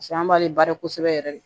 paseke an b'ale baara kosɛbɛ yɛrɛ de